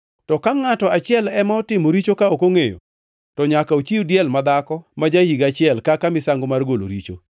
“ ‘To ka ngʼato achiel ema otimo richo ka ok ongʼeyo, to nyaka ochiw diel madhako ma ja-higa achiel kaka misango mar golo richo.